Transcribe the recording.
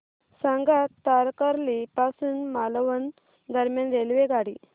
सांगा तारकर्ली पासून मालवण दरम्यान रेल्वेगाडी